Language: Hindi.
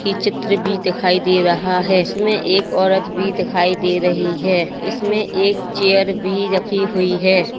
ये चित्र भी दिखाई दे रहा है इसमें एक औरत भी दिखाई दे रही है इसमें एक चेयर भी रखी हुई है।